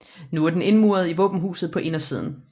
Nu er den indmuret i våbenhuset på indersiden